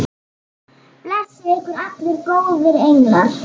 Blessi ykkur allir góðir englar.